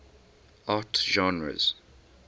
art genres